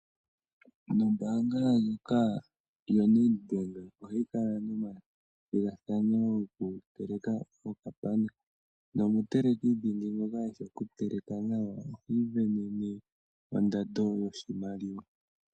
Ombaanga ndjoka yaNedbank ohayi kala nomathigathano gokuteleka okapana. Nomutelekidhingi ngoka eshi okuteleka nawa ohi isindanene ondando yoshimaliwa.